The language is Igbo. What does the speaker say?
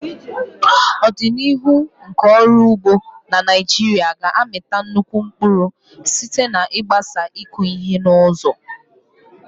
Ọdịnihu nke ọrụ ugbo na Naijiria ga-amịta nnukwu mkpụrụ site n'ịgbaso ịkụ ihe n'ụzọ.